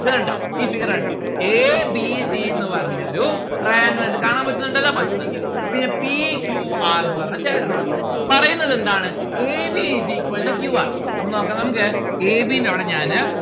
ഇത് കണ്ടോ ഈ figure കണ്ടോ A B C എന്ന് പറഞ്ഞ ഒരു triangle ഇണ്ട് കാണാൻ പറ്റുന്നുണ്ടല്ലോ പറ്റുന്നുണ്ട്. പിന്നെ P Q R ന്ന്‌ പറഞ്ഞ triangle ഉണ്ട് പറയുന്നതെന്താണ് A B is equal to Q R അപ്പോ നോക്ക നമ്മുക്ക് A B ന്റെ അവിടെ ഞാന്